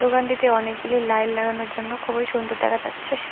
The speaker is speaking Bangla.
দোকানটিতে অনেকগুলি লাইন লাগানোর জন্য খুবই সুন্দর দেখা যাচ্ছে।